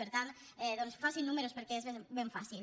per tant doncs facin números perquè és ben fàcil